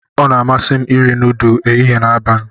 Ọ na-amasị m iri nudu ehihie na abalị.